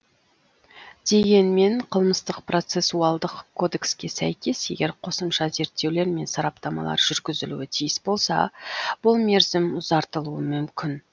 дегенмен қылмыстық процессуалдық кодекске сәйкес егер қосымша зерттеулер мен сараптамалар жүргізілуі тиіс болса бұл мерзім ұзартылуы мүмкін